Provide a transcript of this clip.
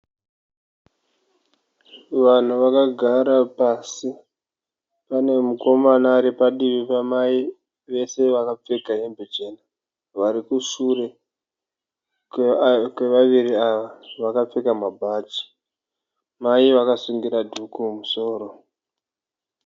Vanhu vakagara pasi, pane mukomana aripadivi pamai vese vakapfeka hembe chena, varikusure kwevaviri ava vakapfeka mabhachi. Mai vakasungira dhuku mumusoro.